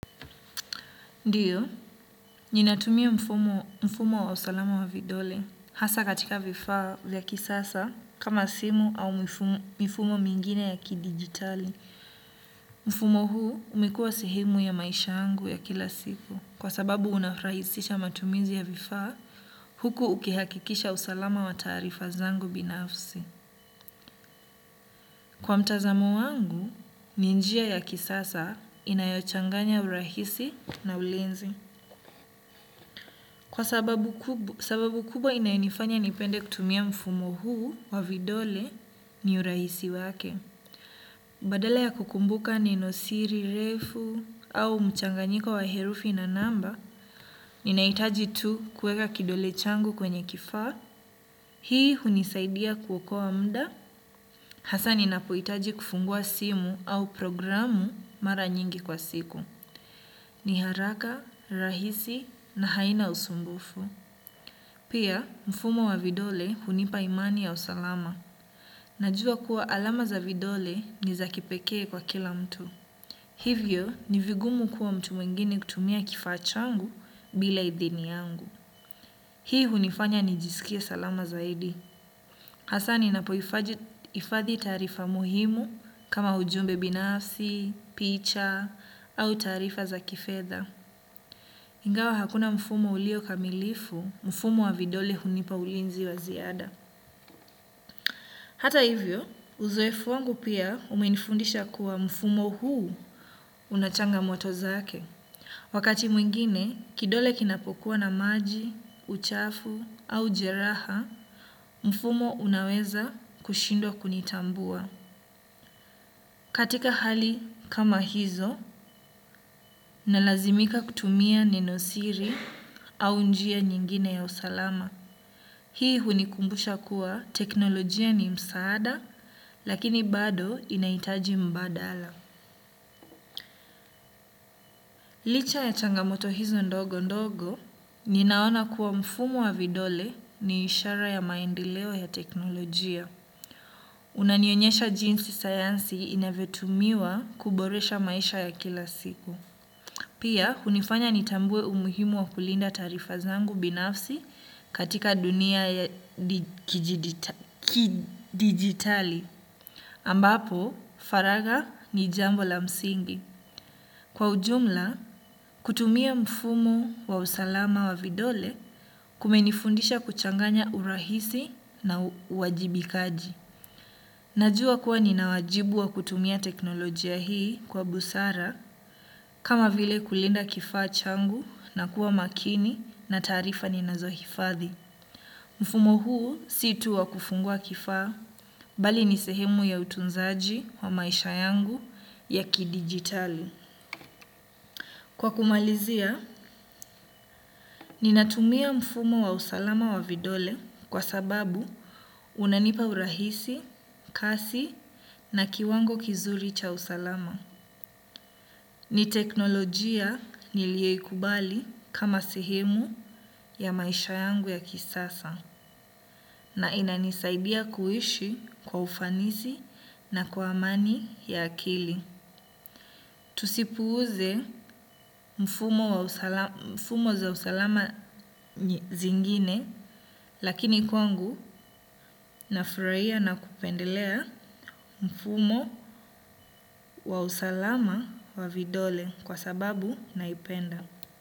Ndiyo, ninatumia mfumo wa usalama wa vidole hasa katika vifaa vya kisasa kama simu au mifumo mingine ya kidigitali. Mfumo huu umekuwa sehemu ya maisha yangu ya kila siku. Kwa sababu unarahisisha matumizi ya vifaa huku ukihakikisha usalama wa taarifa zangu binafsi. Kwa mtazamo wangu, ni njia ya kisasa inayochanganya urahisi na ulinzi. Kwa sababu kubwa inayonifanya nipende kutumia mfumo huu wa vidole ni urahisi wake. Badala ya kukumbuka neno siri, refu au mchanganyika wa herufi na namba, ninahitaji tu kuweka kidole changu kwenye kifaa. Hii hunisaidia kuokoa muda. Hasa ninapohitaji kufungua simu au programu mara nyingi kwa siku. Niharaka, rahisi na haina usumbufu. Pia, mfumo wa vidole hunipa imani ya usalama. Najua kuwa alama za vidole nizakipekee kwa kila mtu. Hivyo, nivigumu kuwa mtu mwengini kutumia kifaa changu bila idhini yangu. Hii hunifanya nijisikie salama zaidi. Hasaa ninapohifadhi taarifa muhimu kama ujumbe binafsi, picha, au taarifa za kifedha. Ingawa hakuna mfumo ulio kamilifu, mfumo wa vidole hunipa ulinzi waziada. Hata hivyo, uzoefu wangu pia umenifundisha kuwa mfumo huu unachangamoto zake. Wakati mwingine, kidole kinapokuwa na maji, uchafu au jeraha, mfumo unaweza kushindwa kunitambua. Katika hali kama hizo, nalazimika kutumia neno siri au njia nyingine ya usalama. Hii hunikumbusha kuwa teknolojia ni msaada, lakini bado inahitaji mbadala. Licha ya changamoto hizo ndogo ndogo, ninaona kuwa mfumo wa vidole ni ishara ya maendeleo ya teknolojia. Unanionyesha jinsi sayansi inavyotumiwa kuboresha maisha ya kila siku. Pia, hunifanya nitambue umuhimu wa kulinda taarifa zangu binafsi katika dunia ya kijiditali. Ambapo, faragha ni jambo la msingi. Kwa ujumla, kutumia mfumo wa usalama wa vidole kumenifundisha kuchanganya urahisi na uwajibikaji. Najua kuwa ninawajibu wa kutumia teknolojia hii kwa busara kama vile kulinda kifaa changu na kuwa makini na taarifa ni nazohifadhi. Mfumo huu si tu wa kufungua kifaa bali nisehemu ya utunzaji wa maisha yangu ya kidigitalui. Kwa kumalizia, ninatumia mfumo wa usalama wa vidole kwa sababu unanipa urahisi, kasi na kiwango kizuri cha usalama. Ni teknolojia niliyo ikubali kama sehemu ya maisha yangu ya kisasa na inanisaidia kuishi kwa ufanisi na kwa amani ya akili. Tusipuuze mifumo za usalama zingine lakini kwangu nafurahia na kupendelea mfumo wa usalama wa vidole kwa sababu naipenda.